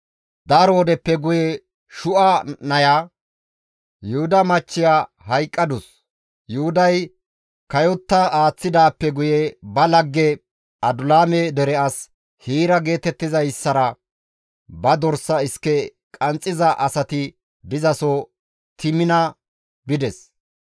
Daro wodeppe guye Shu7a naya, Yuhuda machchiya hayqqadus. Yuhuday kayotti aaththidaappe guye ba lagge Adulaame dere as Hiira geetettizayssara ba dorsa iske qanxxiza asati dizaso Temina bides.